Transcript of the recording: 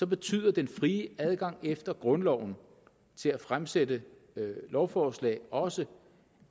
betyder den frie adgang efter grundloven til at fremsætte lovforslag også